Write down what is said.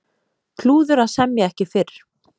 Klúður að semja ekki fyrr